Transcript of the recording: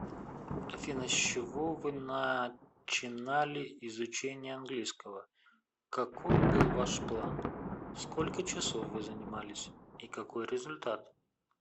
афина с чего вы начинали изучение английского каков был ваш план сколько часов вы занимались и какой результат